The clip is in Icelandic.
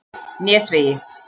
Nesvegi